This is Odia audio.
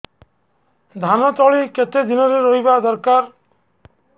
ଧାନ ତଳି କେତେ ଦିନରେ ରୋଈବା ଦରକାର